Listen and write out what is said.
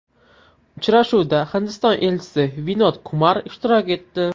Uchrashuvda Hindiston Elchisi Vinod Kumar ishtirok etdi.